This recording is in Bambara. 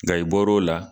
Nka i bɔr'o la